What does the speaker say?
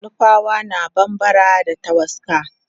nupawa na bambara da tawaska